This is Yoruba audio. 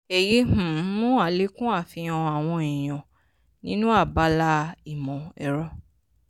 èyí um mú àlékún àfihàn àwọn èèyàn nínú abala ìmọ̀-ẹ̀rọ.